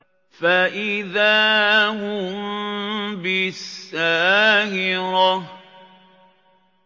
فَإِذَا هُم بِالسَّاهِرَةِ